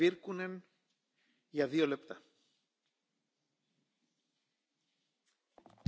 Arvoisa puhemies, muovistrategian tärkein tavoite on vähentää muovijätettä.